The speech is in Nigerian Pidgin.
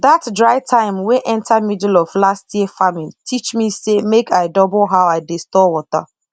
that dry time wey enter middle of last year farming teach me say make i double how i dey store water